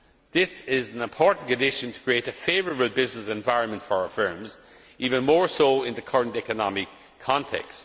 This is an important condition for creating a favourable business environment for firms, even more so in the current economic context.